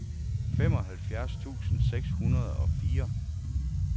femoghalvfjerds tusind seks hundrede og fire